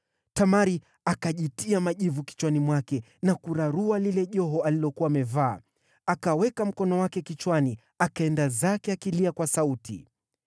Tamari akajitia majivu kichwani mwake na kurarua lile joho alilokuwa amevaa. Akaweka mkono wake kichwani, akaenda zake akilia kwa sauti.